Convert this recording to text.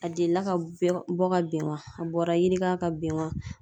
A delila ka bɔ ka ben wa a bɔra yirika ka ben wa?